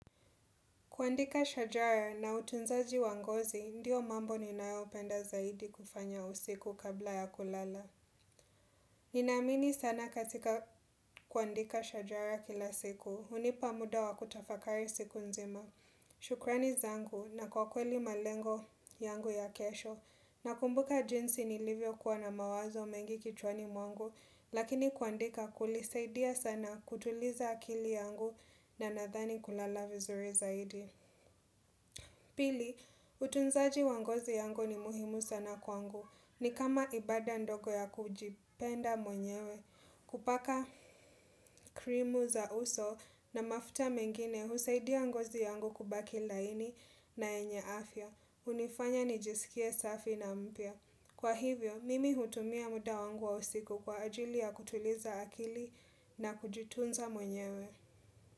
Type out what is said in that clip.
Kuandika shajara na utunzaji wangozi, ndiyo mambo ninayo penda zaidi kufanya usiku kabla ya kulala. Ninamini sana katika kuandika shajara kila siku, hunipa muda wa kutafakari siku nzima. Shukrani zangu na kwa kweli malengo yangu ya kesho, na kumbuka jinsi nilivyo kuwa na mawazo mengi kichwani mwangu, lakini kuandika kulisaidia sana kutuliza akili yangu na nadhani kulala vizuri zaidi. Pili, utunzaji wangozi yangu ni muhimu sana kwangu. Ni kama ibada ndogo ya kujipenda mwenyewe. Kupaka cream za uso na mafuta mengine husaidia ngozi yangu kubaki laini na yenye afya. Unifanya nijisikie safi na mpya. Kwa hivyo, mimi hutumia muda wangu wa usiku kwa ajili ya kutuliza akili na kujitunza mwenyewe.